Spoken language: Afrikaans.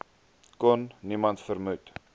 kon niemand vermoed